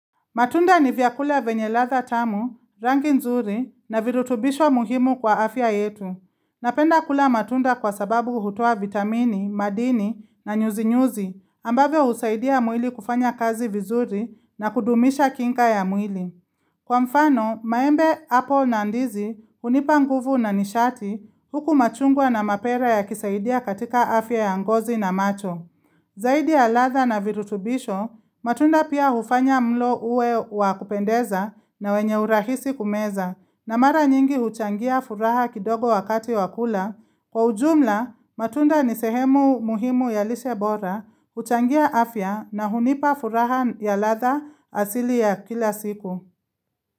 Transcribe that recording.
Matunda ni vyakula venye ladha tamu, rangi nzuri na virutubisho muhimu kwa afya yetu. Napenda kula matunda kwa sababu hutoa vitamini, madini na nyuzi-nyuzi ambavyo husaidia muili kufanya kazi vizuri na kudumisha kinga ya mwili. Kwa mfano, maembe, apple na ndizi hunipa nguvu na nishati huku machungwa na mapera yakisaidia katika afya ya ngozi na macho. Zaidi ya ladha na virutubisho, matunda pia hufanya mlo uwe wa kupendeza na wenye urahisi kumeza na mara nyingi huchangia furaha kidogo wakati wa kula. Kwa ujumla, matunda ni sehemu muhimu ya lishe bora, huchangia afya na hunipa furaha ya ladha asili ya kila siku.